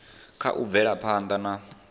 kha u bvela phanda na